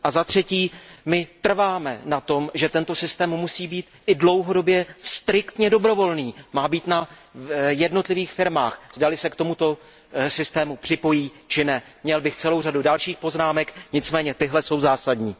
Za třetí, my trváme na tom, že tento systém musí být i dlouhodobě striktně dobrovolný, má být na jednotlivých firmách, zda li se k tomuto systému připojí či ne. Měl bych celou řadu dalších poznámek, nicméně tyhle jsou zásadní.